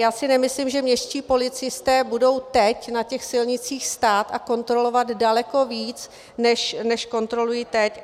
Já si nemyslím, že městští policisté budou teď na těch silnicích stát a kontrolovat daleko víc, než kontrolují teď.